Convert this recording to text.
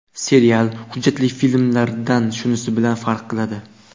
Serial, hujjatli filmlardan shunisi bilan farq qiladi.